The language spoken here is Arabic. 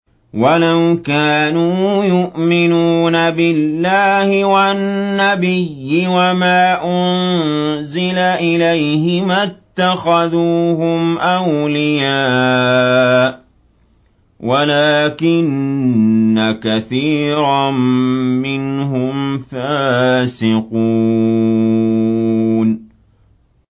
وَلَوْ كَانُوا يُؤْمِنُونَ بِاللَّهِ وَالنَّبِيِّ وَمَا أُنزِلَ إِلَيْهِ مَا اتَّخَذُوهُمْ أَوْلِيَاءَ وَلَٰكِنَّ كَثِيرًا مِّنْهُمْ فَاسِقُونَ